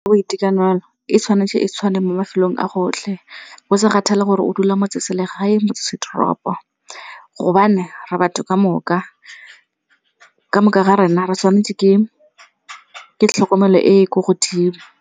Ke boitekanelo, e tshwanetse e tshwane mo mafelong a gotlhe go sa kgathalesege gore o dula motseselegae motsesetoropo. Gobane re batho kamoka, kamoka ga rena re tshwanetse ke tlhokomelo e e ko godimo.